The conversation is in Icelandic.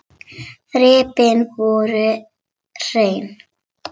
Þrepin voru hrein.